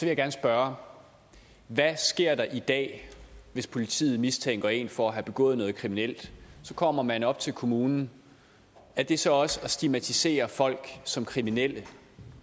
jeg gerne spørge hvad sker der i dag hvis politiet mistænker en for at have begået noget kriminelt så kommer man op til kommunen er det så også at stigmatisere folk som kriminelle